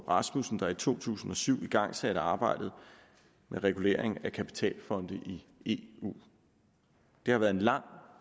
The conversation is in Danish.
rasmussen der i to tusind og syv igangsatte arbejdet med regulering af kapitalfonde i eu det har været en lang